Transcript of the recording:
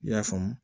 I y'a faamu